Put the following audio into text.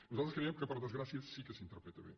nosaltres creiem que per desgràcia sí que s’interpreta bé